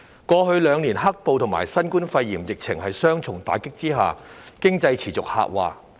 過去兩年，在"黑暴"和新冠肺炎疫情的雙重打擊下，經濟持續下滑。